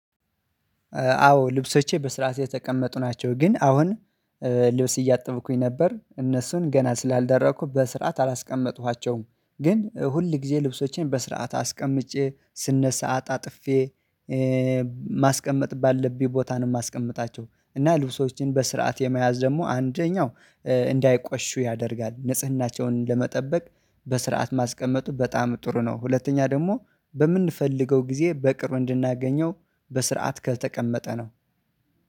አዎ ልብሶቼ በስራቴ የተቀመጡ ናቸው። ግን አሁን ልብስ እያጠብኩኝ ነበር እነሱን ገና ስላልደረቁ በስርዓት አላስቀመጥኳቸውም። ግን ሁል ጊዜ ልብሶቼን በስርዓት አስቀምጬ ስነሳ ሰዓት አታጥፌ፤ ማስቀመጥ ባለብኝ ቦታ ነው የማስቀምጣቸው። እና ልብሶችን በስርዓት የመያዝ ደግሞ አንደኛው እንዳይቆሹ ያደርጋል፤ ንጽህናቸውን ለመጠበቅ በስርዓት ማስቀመጡ በጣም ጥሩ ነው። ሁለተኛ ደግሞ በምንፈልገው ጊዜ በቅርብ እንድናገኘው በስርዓት ከተቀመጠ ነው።